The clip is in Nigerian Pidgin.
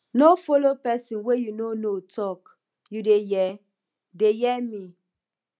no follow pesin wey you no know talk you dey hear dey hear me